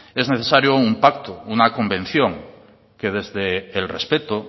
es necesario un pacto una convención que desde el respeto